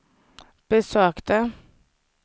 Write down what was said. besökte